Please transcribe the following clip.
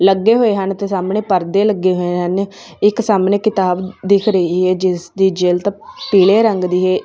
ਲੱਗੇ ਹੋਏ ਹਨ। ਇੱਥੇ ਸਾਹਮਣੇ ਪਰਦੇ ਲੱਗੇ ਹੋਏ ਹਨ। ਇੱਕ ਸਾਹਮਣੇ ਕਿਤਾਬ ਦਿਖ ਰਹੀ ਹੈ ਜਿਸ ਦੀ ਜਿਲਤ ਪੀਲੇ ਰੰਗ ਦੀ ਹੈ।